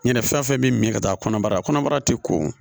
Ɲinɛ fɛn fɛn bɛ min ka taa kɔnɔbara la kɔnɔbara ti ko